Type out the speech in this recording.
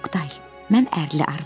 Oqtay, mən ərli arvadam.